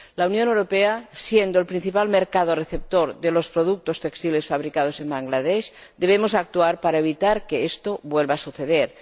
Siendo la Unión Europea el principal mercado receptor de los productos textiles fabricados en Bangladés, debemos actuar para evitar que esto vuelva a suceder.